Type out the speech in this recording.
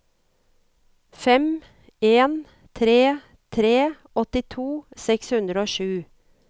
fem en tre tre åttito seks hundre og sju